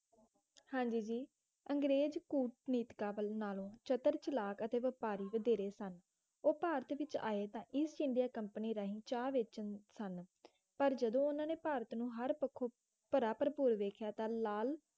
ਹਾਂ ਜੀ ਜੀ ਅੰਗਰੇਜ ਕੂਟਨੀਤੀਕਾਂ ਨਾਲੋਂ ਚਤਰ ਚਲਾਕ ਅਤੇ ਵਪਾਰੀ ਵਧੇਰੇ ਸਨ ਉਹ ਭਾਰਤ ਵਿੱਚ ਆਏ ਤਾਂ ਈਸਟ ਇੰਡੀਆ ਕੰਪਨੀ ਰਾਹੀਂ ਚਾਹ ਵੇਚਣ ਸਨ ਪਰ ਜਦੋਂ ਉਨ੍ਹਾਂ ਨੇ ਭਾਰਤ ਨੂੰ ਹਰ ਪੱਖੋਂ ਭਰਾ ਭਰਪੂਰ ਵਧੀਆ ਤਾਂ ਲਾਲਚ